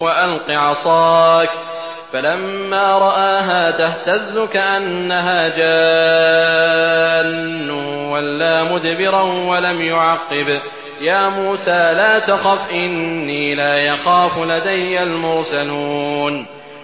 وَأَلْقِ عَصَاكَ ۚ فَلَمَّا رَآهَا تَهْتَزُّ كَأَنَّهَا جَانٌّ وَلَّىٰ مُدْبِرًا وَلَمْ يُعَقِّبْ ۚ يَا مُوسَىٰ لَا تَخَفْ إِنِّي لَا يَخَافُ لَدَيَّ الْمُرْسَلُونَ